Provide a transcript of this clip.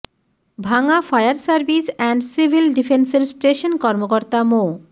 ভাঙ্গা fire service and civil ডিফেন্সের station কর্মকর্তা মো